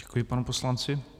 Děkuji panu poslanci.